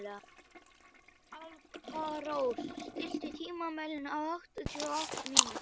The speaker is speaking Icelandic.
Alparós, stilltu tímamælinn á áttatíu og átta mínútur.